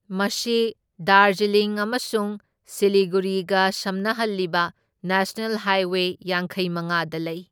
ꯃꯁꯤ ꯗꯥꯔꯖꯤꯂꯤꯡ ꯑꯃꯁꯨꯡ ꯁꯤꯂꯤꯒꯨꯔꯤꯒ ꯁꯝꯅꯍꯜꯂꯤꯕ ꯅꯦꯁꯅꯜ ꯍꯥꯏꯋꯦ ꯌꯥꯡꯈꯩꯃꯉꯥꯗ ꯂꯩ꯫